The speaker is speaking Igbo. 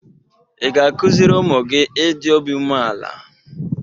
Ị ga-akụziri ụmụ gị ịdị obi umeala?